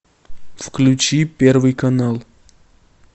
включи первый канал